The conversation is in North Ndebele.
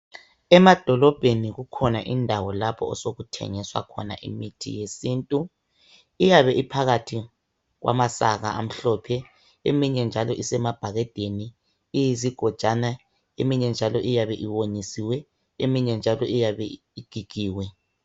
Emadolobheni kukhona indawo lapho osokuthengiswa khona imithi yesintu iyabe iphakathi kwamasaka amhlophe eminye njalo isemabhakedeni iyizigojwana eminye njalo iyabe iwonyisiwe eminye njalo iyabe igigiwe.